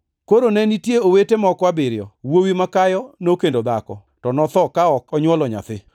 Koro ne nitie owete moko abiriyo. Wuowi makayo nokendo dhako, to notho ka ok onywolo nyathi.